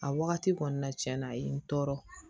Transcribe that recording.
A wagati kɔni na cɛn na a ye n tɔɔrɔ